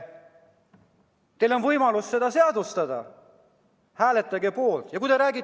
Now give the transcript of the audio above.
Teil on võimalus see seadustada, hääletage poolt!